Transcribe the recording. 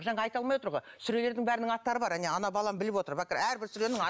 жаңа айта алмай отыр ғой сүрелердің бәрінің аттары бар әне ана балам біліп отыр әрбір сүренің